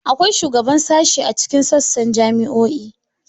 Akwai shugaban sashe a cikin sassan jami'o'i.